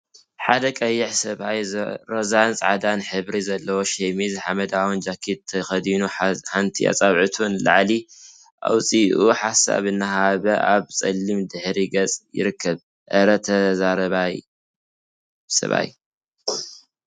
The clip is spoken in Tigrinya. ሓደ ቀይሕ ሰብአይ ሮዛን ፃዕዳን ሕብሪ ዘለዎ ሸሚዝን ሓመደዋይ ጃኬት ተከዲኑ ሓንቲ አፃብዕቱ ንላዕሊ አውፂኡ ሓሳብ እናሃበ አብ ፀሊም ድሕረ ገፅ ይርከብ፡፡ አረ ተዛረባይ ሰብአይ!